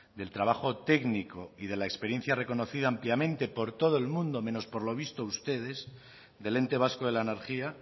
del trabajo técnico y de la experiencia reconocida ampliamente por todo el mundo menos por lo visto ustedes del ente vasco de la energía